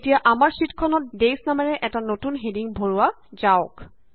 এতিয়া আমাৰ শ্যিটখনত ডেয়জ নামেৰে এটা নতুন হেডিং ভৰোৱা যাওক